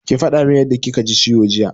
Ki faɗa min yadda kika ji ciwo jiya!